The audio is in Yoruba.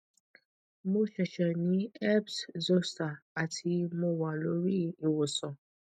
mo se se ni herpes zoster ati mo wa lori iwosan